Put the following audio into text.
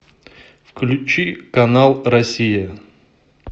включи канал россия